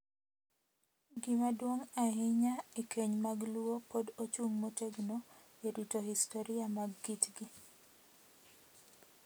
Gima duong’ ahinya e keny mag Luo pod ochung’ motegno e rito historia mar kitgi.